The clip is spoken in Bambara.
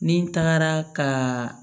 Ni n tagara ka